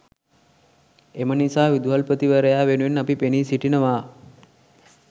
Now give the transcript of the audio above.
එම නිසා විදුහල්පතිවරයා වෙනුවෙන් අපි පෙනී සිටිනවා